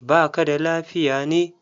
Ba ka da lafiya ne?